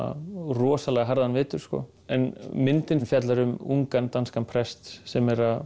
rosalega harðan vetur en myndin fjallar um ungan danskan prest sem er að